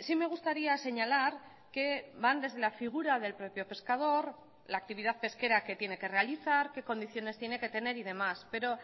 sí me gustaría señalar que van desde la figura del propio pescador la actividad pesquera que tiene que realizar qué condiciones tiene que tener y demás pero